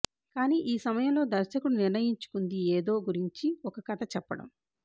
కానీ ఈ సమయంలో దర్శకుడు నిర్ణయించుకుంది ఏదో గురించి ఒక కథ చెప్పడం